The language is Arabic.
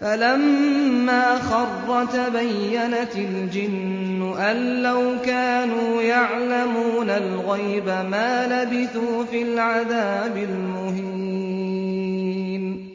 فَلَمَّا خَرَّ تَبَيَّنَتِ الْجِنُّ أَن لَّوْ كَانُوا يَعْلَمُونَ الْغَيْبَ مَا لَبِثُوا فِي الْعَذَابِ الْمُهِينِ